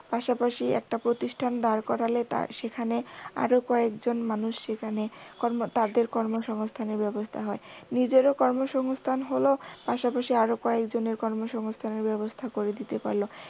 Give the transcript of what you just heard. পাশাপাশি একটা প্রতিষ্ঠান দাড় করালে সেখানে আরও কয়েকজন মানুষ সেখানে কর্ম তাদের কর্মসংস্থানের ব্যবস্থা হয়। নিজের কর্মসংস্থান হল পাশাপাশি আরও কয়েকজনের কর্মসংস্থানের ব্যবস্থা করে দিতে পারল।